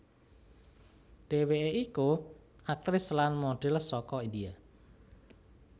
Dheweke iku aktris lan modhel saka India